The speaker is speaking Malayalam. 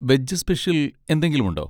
വെജ് സ്പെഷ്യൽ എന്തെങ്കിലുമുണ്ടോ?